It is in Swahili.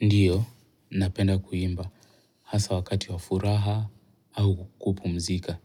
Ndiyo, napenda kuimba hasa wakati wa furaha au kupumzika.